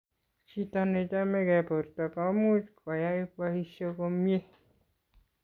chito ne chamegei borto ko much kuyai boisie komye